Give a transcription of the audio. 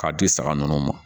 K'a di saga ninnu ma